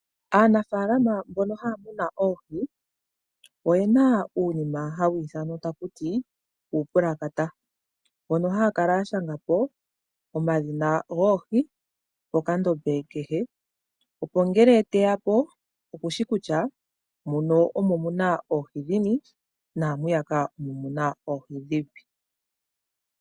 Aanafaalama mboka haya munu oohi oyena uunima hawu ithanwa taku ti uupulakata. Mpono haya kala ya shanga po omadhina goohi pokandombe kehe. Opo ngele teya po okushi kutya muno omo muna oohi dhini naamwiyaka omuna oohi dhini.